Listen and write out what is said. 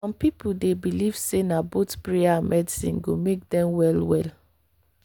some people dey believe say na both prayer and medicine go make dem well well.